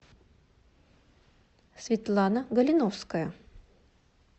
светлана галиновская